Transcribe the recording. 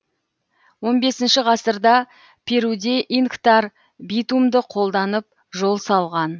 он бесінші ғасырда перуде инктар битумды қолданып жол салған